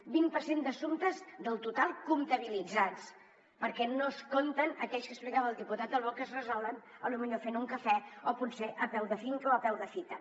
vint per cent d’assumptes del total comptabilitzat perquè no s’hi compten aquells que explicava el diputat albó que es resolen potser fent un cafè o potser a peu de finca o a peu de fita